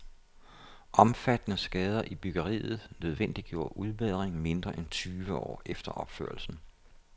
Omfattende skader i byggeriet nødvendiggjorde udbedring mindre end tyve år efter opførelsen.